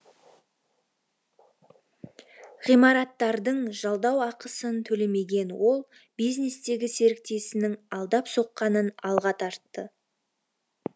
ғимараттардың жалдау ақысын төлемеген ол бизнестегі серіктесінің алдап соққанын алға тартты